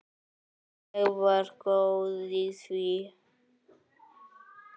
Ég var góð í því.